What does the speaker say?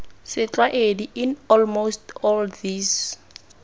setlwaedi in almost all these